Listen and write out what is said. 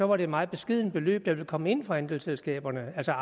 var det et meget beskedent beløb der ville kom ind fra andelsselskaberne altså